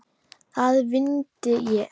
Að vindinn lægði.